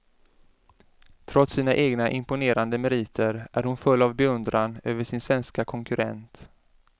Trots sina egna imponerande meriter är hon full av beundran över sin svenska konkurrent.